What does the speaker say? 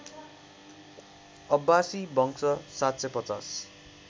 अब्बासी वंश ७५०